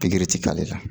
Pikiri ti k'ale la